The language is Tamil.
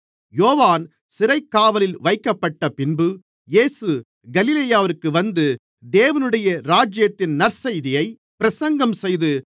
யோவான் சிறைக்காவலில் வைக்கப்பட்டபின்பு இயேசு கலிலேயாவிற்கு வந்து தேவனுடைய ராஜ்யத்தின் நற்செய்தியைப் பிரசங்கம் செய்து